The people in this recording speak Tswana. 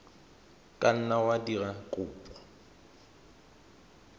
ka nna wa dira kopo